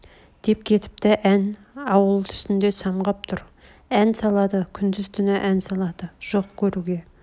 деп кетпті ән ауыл үстнде самғап тұр ән салады күндіз-түн ән салады жоқ көруге